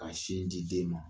Ka sin di den ma